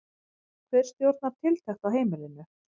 Hver stjórnar tiltekt á heimilinu?